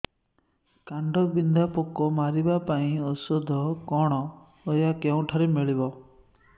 କାଣ୍ଡବିନ୍ଧା ପୋକ ମାରିବା ପାଇଁ ଔଷଧ କଣ ଓ ଏହା କେଉଁଠାରୁ ମିଳିବ